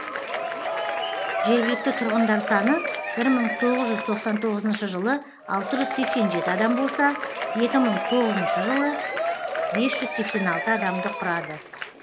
жергілікті тұрғындар саны бір мың тоғыз жүз тоқсан тоғызыншы жылы алты жүз сексен жеті адам болса екі мың тоғызыншы жылы бес жүз сексен алты адамды құрады